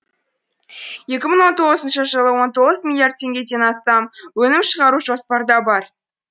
екі мың он тоғызыншы жылы он тоғыз миллиард теңгеден астам өнім шығару жоспарда бар